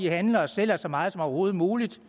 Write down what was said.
at handle og sælge så meget som overhovedet muligt